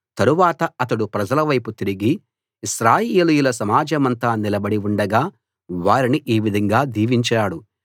తరవాత అతడు ప్రజల వైపు తిరిగి ఇశ్రాయేలీయుల సమాజమంతా నిలబడి ఉండగా వారిని ఈ విధంగా దీవించాడు